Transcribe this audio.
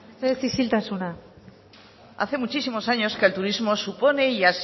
mesedez isiltasuna hace muchísimos años que el turismo supone y